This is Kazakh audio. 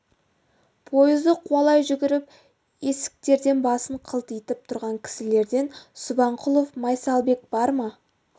пойызды қуалай жүгіріп есіктерден басын қылтитып тұрған кісілерден субанқұлов майсалбек бар ма